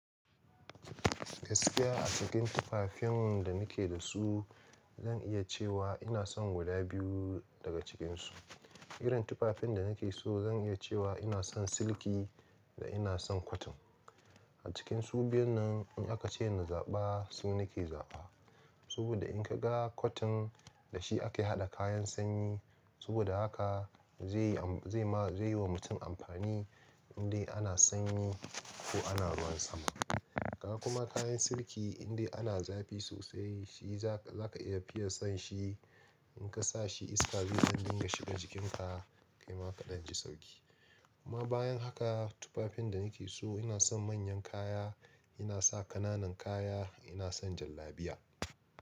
Gaskiya a cikin tufafin da ni ke da su, zan iya cewa ina son guda biyu daga cikinsu. Irin tufafin da ni ke so zan iya cewa ina son silki da ina son cotton. A cikin su biyun nan in aka ce na zaɓa, su nake zaɓa. Saboda in ka ga cotton da shi ake haɗa kayan sanyi, saboda haka zai yi wa mutum amfani indai ana sanyi ko ana ruwan sama. Ka kuma kayan silki indai ana zafi sosai, shi za ka iya fiya son shi in ka sa shi iska zai dinga shiga cikinka kai ma ka ɗan ji sauƙi. Kuma bayan haka tufafin da ni ke so ina son manyan kaya, ina sa ƙananan kaya, ina son jallabiya.